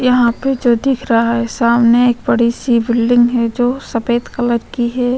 यहाँ पे जो दिख रहा है सामने एक बड़ी सी बिल्डिंग है जो सफ़ेद कलर की है।